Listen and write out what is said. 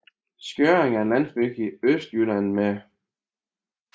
Skjørring er en landsby i Østjylland med